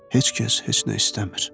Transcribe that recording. Heç kəs heç nə istəmir.